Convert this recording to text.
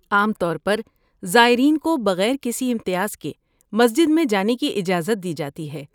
عام طور پر زائرین کو بغیر کسی امتیاز کے مسجد میں جانے کی اجازت دی جاتی ہے۔